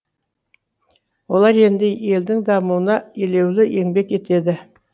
олар енді елдің дамуына елеулі еңбек етеді